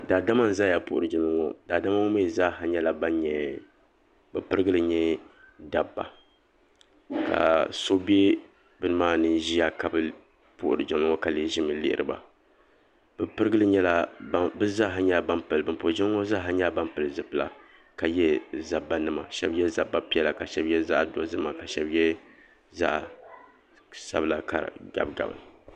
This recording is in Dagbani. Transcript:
Daadama n zaya m puhiri jiŋli ŋɔ daadama' ŋɔ mee zaaha bɛ pirigili nyɛ dabba ka so be bini maa ni ka bɛ puhiri jiŋli ŋɔ ka lee ʒimi lihiri ba ban puhiri jiŋli ŋɔ zaa ha nyɛla ban pili zipilila ka ye zabba nima sheba ye zabba piɛla ka sheba ye zaɣa dozim ka shenba ye zaɣa sabila gabi gabi.